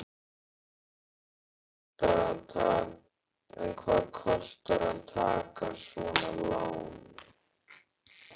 En hvað kostar að taka svona lán?